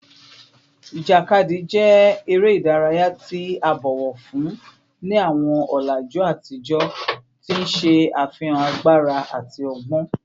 Ijakadi jẹ ere idaraya ti a bọwọ fun ni awọn ọlaju atijọ, ti n ṣe afihan agbara ati ọgbọn